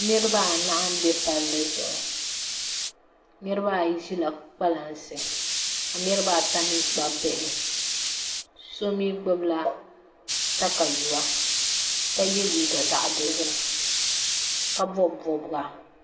Niraba anahi n bɛ palli zuɣu niraba ayi ʒila kpalansi ka niraba ata mii kpabi bihi so mii gbubila katayuwa ka yɛ liiga zaɣ dozim ka bob bobga